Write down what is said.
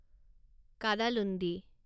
Kadalundi